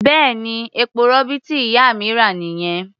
Bẹ́ẹ̀ni, epo-rọ̀bì tí ìyá mi rà nìyẹn.